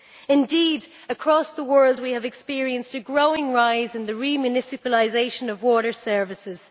Indeed, across the world, we have experienced a growing rise in the re-municipalisation of water services.